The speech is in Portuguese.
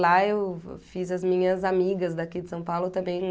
Lá eu fê fiz as minhas amigas daqui de São Paulo também.